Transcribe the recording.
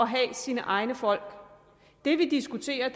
have sine egne folk det vi diskuterer